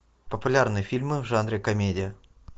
популярные фильмы в жанре комедия